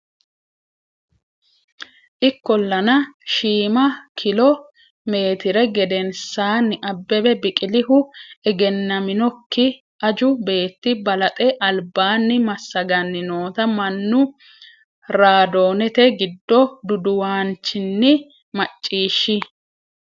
Ikkol- lana, shiima kilo meetire gedensaanni Abbebe Biqilihu, egennaminokki- aju beetti balaxe albaanni massaganni noota mannu raadoonete giddo duduwaanchinni macciishshi.